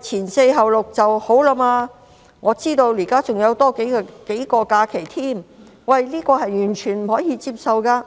前四後六'是最低限度的，我不知道她現時還多了假期，這是完全不可以接受的。